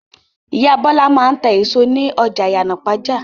Ìyá Bọ́lá máa ń ta èso ní ọjà Ìyànàpájà.